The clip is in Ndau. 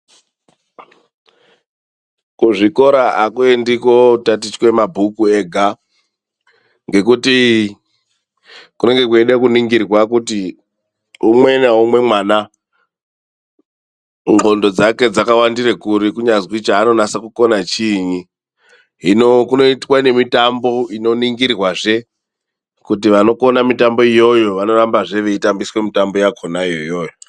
Kuzvikora akuendiwi kotatiche mabhuku ega, ngekuti kunenge kweida kuningirwa kuti umwe naumwe mwana nqondo dzake dzakawandire kuri, kunyazwi chaanonasa kukona chiinyi. Hino ,kunoitwa nemitambo inoningirwazve kuti vanokona mitambo iyoyo vanorambazve veitambiswa mitambo yakhona iyoyo.